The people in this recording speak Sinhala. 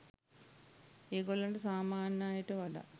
ඒගොල්ලන්ට සාමාන්‍ය අයට වඩා